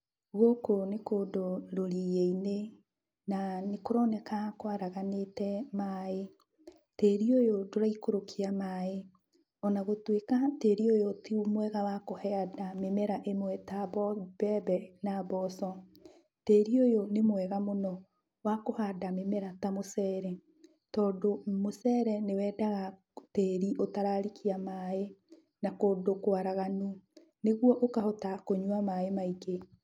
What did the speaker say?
Gũkũ nĩ kũndũ rũriĩi-inĩ, na nĩkũroneka kwaraganĩte maĩ. Tĩri ũyũ ndũraikũrũkia maĩ. Ona gũtuĩka tĩri ũyũ ti mwega wa kũhanda mĩmera ĩmwe ta mbembe na mboco, tĩri ũyũ nĩ mwega mũno wa kũhanda mĩmera ta mũcere, tondĩ mũcere nĩwendaga tĩri ũtararikia maĩ, na kũndũ kwaraganu nĩguo ũkahota kũnyua maĩ maingĩ.